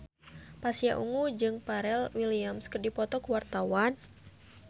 Pasha Ungu jeung Pharrell Williams keur dipoto ku wartawan